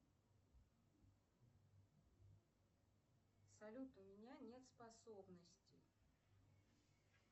салют у меня нет способностей